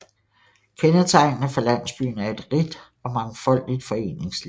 Kendetegnende for landsbyen er et rigt og mangfoldigt foreningsliv